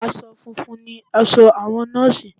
Aṣọ funfun ni aṣọ àwọn nọ́ọ̀sì